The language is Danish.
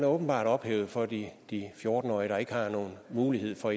åbenbart ophævet for de fjorten årige der ikke har nogen mulighed for